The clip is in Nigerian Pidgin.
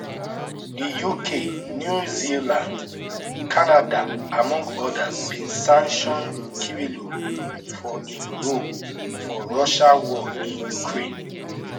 di uk new zealand canada among odas bin sanction kirillov for im role for russia war in ukraine